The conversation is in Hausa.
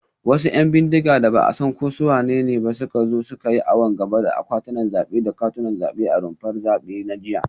Wasu ‘yan bindiga da ba a san ko su wanene ba ne suka zo suka yi awon gaba da akwatunan zabe da katunan zabe a rumfar zabe na jiya